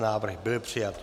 Návrh byl přijat.